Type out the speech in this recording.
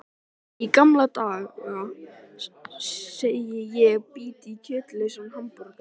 Í gamla daga, segi ég og bít í kjötlausan hamborgarann.